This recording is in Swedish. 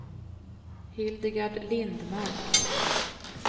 Hildegard Lindmark